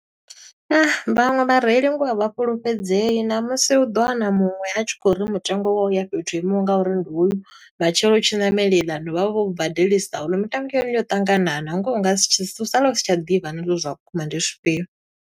Vhaṅwe vhareili ngoho a vha fhulufhedzei ṋamusi u ḓo wana muṅwe a tshi khou uri mutengo wo ya fhethu ho imaho nga uri ndi uyu. Matshelo u tshi ṋamela eiḽani vha vho u badelisa oyu. Mitengo ya hone yo ṱanganana, ngoho u nga si tsh u sala u sa tsha ḓivha na zwa uri zwa vhukuma ndi zwifhio.